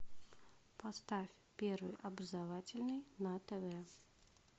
поставь первый образовательный на тв